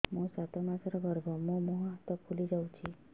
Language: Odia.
ମୋ ସାତ ମାସର ଗର୍ଭ ମୋ ମୁହଁ ହାତ ପାଦ ଫୁଲି ଯାଉଛି